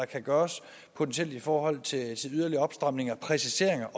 kan gøres i forhold til yderligere opstramning og præcisering